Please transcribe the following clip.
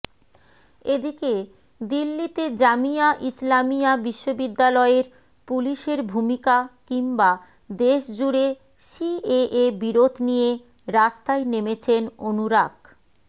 এদিকে দিল্লিতে জামিয়া ইসলামিয়া বিশ্ববিদ্যালয়ের পুলিশের ভূমিকা কিংবা দেশজুড়ে সিএএ বিরোধ নিয়ে রাস্তায় নেমেছেন অনুরাগ